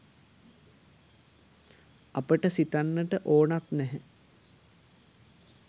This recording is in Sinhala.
අපි සිතන්නට ඕනත් නැහැ.